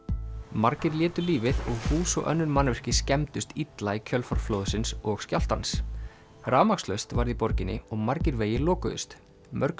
margir létu lífið og hús og önnur mannvirki skemmdust illa í kjölfar flóðsins og skjálftans rafmagnslaust varð í borginni og margir vegir lokuðust mörg